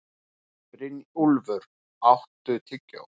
Brynjúlfur, áttu tyggjó?